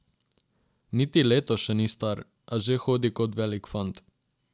Niti leto še ni star, a že hodi kot velik fant.